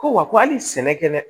Ko wa hali sɛnɛ kɛ dɛ